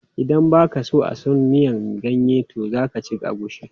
Idan ba ka a son miyan ganye to za ka ci agushi.